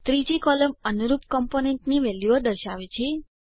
ત્રીજી કોલમ અનુરૂપ કમ્પોનન્ટની વેલ્યુઓ દર્શાવે છે